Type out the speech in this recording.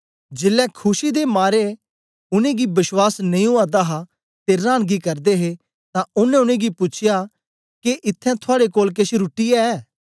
जेलै खुशी दे मारे च उनेंगी बश्वास नेई ओआ दा हा ते रांनगी करदे हे तां ओनें उनेंगी पूछया के इत्थैं थुआड़े कोल केछ रुट्टी ऐ